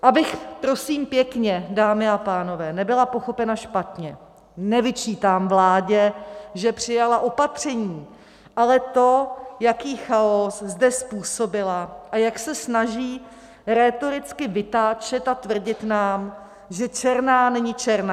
Abych, prosím pěkně, dámy a pánové, nebyla pochopena špatně, nevyčítám vládě, že přijala opatření, ale to, jaký chaos zde způsobila a jak se snaží rétoricky vytáčet a tvrdit nám, že černá není černá.